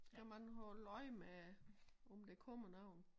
Kan man holde øje med om der kommer nogen